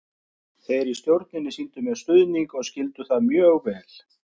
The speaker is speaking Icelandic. Þeir í stjórninni sýndu mér stuðning og skildu það mjög vel.